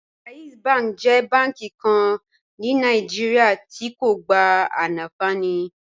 JAIZ bank jẹ bànki kàn ní Nàìjíríà tí̀ kò gbá ànfàní